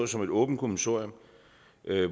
som et åbent kommissorium